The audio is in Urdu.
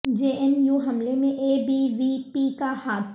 جے این یوحملے میں اے بی وی پی کا ہاتھ